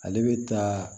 Ale bɛ taa